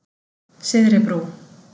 Syðri Brú